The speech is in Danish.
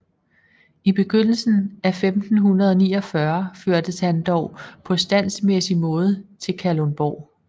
I begyndelsen af 1549 førtes han dog på standsmæssig måde til Kalundborg